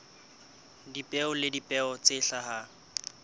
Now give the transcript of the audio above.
dipeo le dipeo tse hlahang